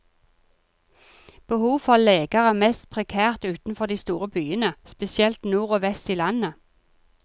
Behovet for leger er mest prekært utenfor de store byene, spesielt nord og vest i landet.